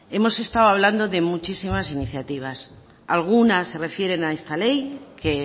hemos estado hablando de muchísimas iniciativas algunas se refieren a esta ley que